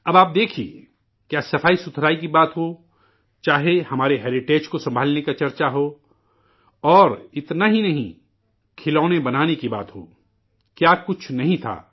اب آپ دیکھیے، کیا صفائی کی بات ہو، چاہے ہماری وراثت کو سنبھالنے کا ذکر ہو، اور اتنا ہی نہیں، کھلونے بنانے کی بات ہو، کیا کچھ نہیں تھا